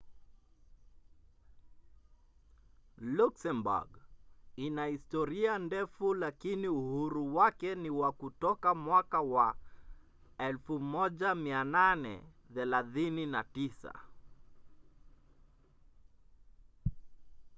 luxembourg ina historia ndefu lakini uhuru wake ni wa kutoka mwaka wa 1839